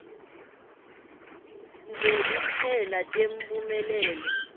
nje kuphela temphumelelo